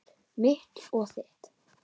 Mitt og þitt.